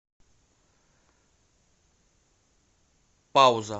пауза